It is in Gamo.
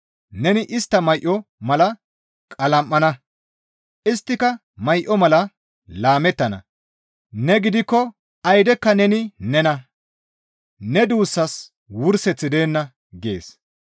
Neni istta may7o mala qalam7ana; isttika may7o mala laamettana; ne gidikko aydekka neni nena; ne duussas wurseththi deenna» gees.